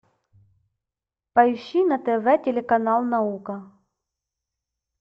поищи на тв телеканал наука